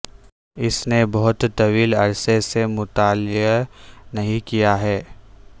اس نے بہت طویل عرصے سے مطالعہ نہیں کیا ہے